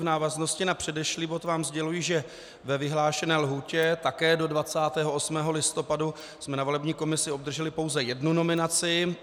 V návaznosti na předešlý bod vám sděluji, že ve vyhlášené lhůtě také do 28. listopadu jsme na volební komisi obdrželi pouze jednu nominaci.